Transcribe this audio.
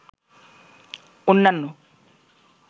অন্যান্য